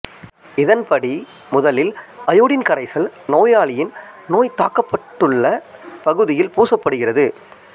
இதன்படி முதலில் அயோடின் கரைசல் நோயாளியின் நோய் தாக்கப்பட்டுள்ளப் பகுதியில் பூசப் படுகிறது